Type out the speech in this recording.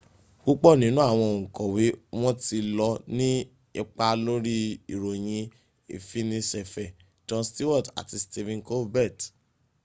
púpọ̀ nínú àwọn oǹkọ̀wé wọn ti lọ ní ipa lórí ìròyìn ìfiniṣẹ̀fẹ̀ jon stewart àti stephen colbert